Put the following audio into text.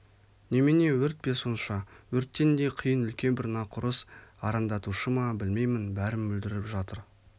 немене өрт пе сонша өрттен де қиын үлкен бір нақұрыс арандатушы ма білмеймін бәрін бүлдіріп жатыр